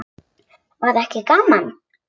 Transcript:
Var ekki gaman?